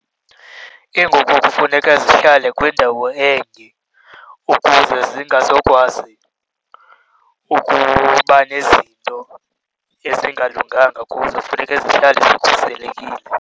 Iinkukhu kufuneka zihlale kwiindawo enye ukuze zingazokwazi ukuba nezinto ezingalunganga kuzo, funeka zihlale zikhuselekile.